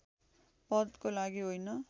पदको लागि होइन